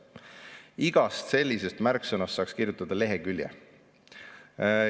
Igast sellisest märksõnast saaks kirjutada lehekülje.